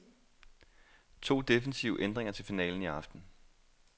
To defensive ændringer til finalen i aften.